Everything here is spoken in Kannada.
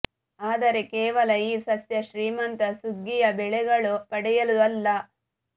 ಆದರೆ ಕೇವಲ ಈ ಸಸ್ಯ ಶ್ರೀಮಂತ ಸುಗ್ಗಿಯ ಬೆಳೆಯಲು ಪಡೆಯಲು ಅಲ್ಲ